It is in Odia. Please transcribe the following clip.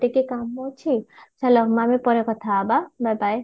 ଟିକେ କାମ ଅଛି ହେଲା ଆମେ ପରେ କଥା ହବା bye bye